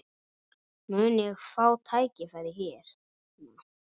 Mun ég fá tækifæri hérna?